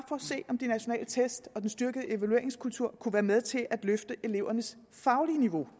om de nationale test og den styrkede evalueringskultur kunne være med til at løfte elevernes faglige niveau